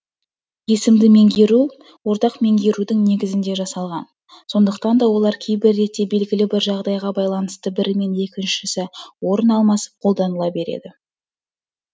есімді меңгеру ортақ меңгерудің негізінде жасалған сондықтан да олар кейбір ретте белгілі бір жағдайға байланысты бірімен екіншісі орын алмасып қолданыла береді